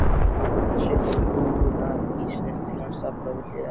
Búinn að setja hrúguna í snyrtilegan stafla við hlið hennar.